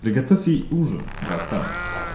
приготовить ей ужин братан